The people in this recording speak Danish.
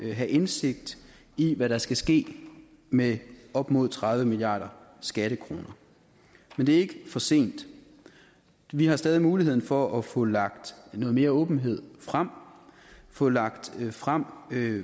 at have indsigt i hvad der skal ske med op mod tredive milliarder skattekroner men det er ikke for sent vi har stadig muligheden for at få lagt noget mere åbenhed frem få lagt frem